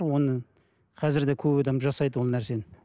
оны қазір де көп адам жасайды ол нәрсені